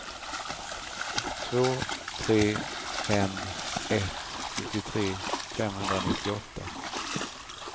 två tre fem ett sjuttiotre femhundranittioåtta